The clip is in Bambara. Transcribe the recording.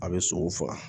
A bɛ sogo faga